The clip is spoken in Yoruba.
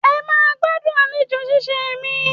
Ẹ máa gbádùn àlejò ṣíṣee mi.